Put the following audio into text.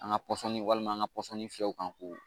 An ka pɔsɔni walima an ka pɔsɔnni fiyɛw kan k'o